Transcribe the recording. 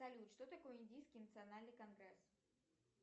салют что такое индийский национальный конгресс